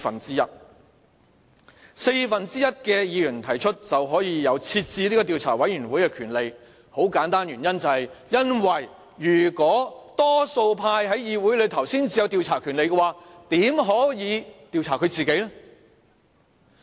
只需四分之一的議員提出便可成立調查委員會的權力，原因很簡單，因為如果多數派在議會內才有調查權力，怎可能會調查自己呢？